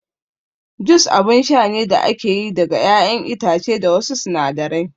Jus abun sha ne da ake yi daga ƴaƴan itace da wasu sinadarai